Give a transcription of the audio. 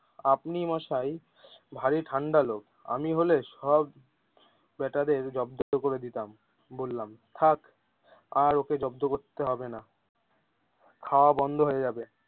আপনি মশাই ভারী ঠান্ডা লোক আমি হলে সব বেটাদের জব্দ করে দিতাম। বললাম থাক আর ওকে জব্দ করতে হবে না। খাওয়া বন্ধ হয়ে যাবে।